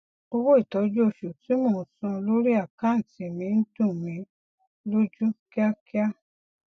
owó ìtọju oṣù tí mo ń san lórí àkántì mi ń dùn mí lójú kíákíá